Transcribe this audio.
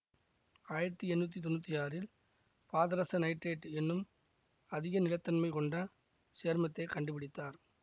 ஆயிரத்தி எண்ணூற்றி தொன்னூற்தி ஆறில் பாதரச நைட்ரேட் என்னும் அதிக நிலைத்தன்மை கொண்ட சேர்மத்தை கண்டுபிடித்தார்